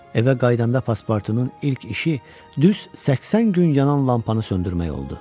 Evə qayıdanda paspartunun ilk işi düz 80 gün yanan lampanı söndürmək oldu.